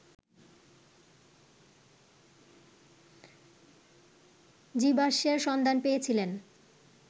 জীবাশ্মের সন্ধান পেয়েছিলেন